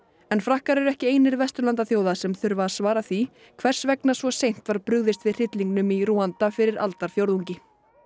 en Frakkar eru ekki einir Vesturlandaþjóða sem þurfa að svara því hvers vegna svo seint var brugðist við hryllingnum í Rúanda fyrir aldarfjórðungi